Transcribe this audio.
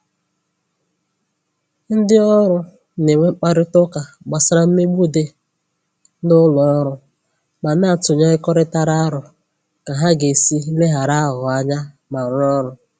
Ndị ọrụ na-enwe mkparịta ụka gbasara mmegbu dị n'ụlọ ọrụ ma na-atụnyekọrịta aro ka ha ga-esi leghara aghụghọ anya ma rụọ ọrụ